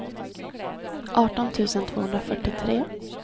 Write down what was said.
arton tusen tvåhundrafyrtiotre